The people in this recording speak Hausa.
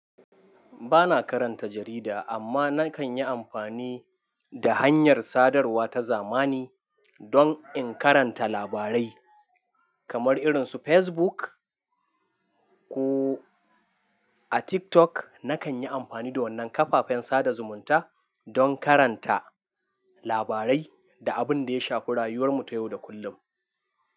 Ba na karanta jarida amma na kan yi amfani da hanyar sadarwa ta zamani don in karanta labarai kamar irin su Facebook ko a TikTok. Na kan yi amfani da wannan kafafen sada zumunta don karanta labarai da abin da ya shafi rayuwar mu ta yau da kullum.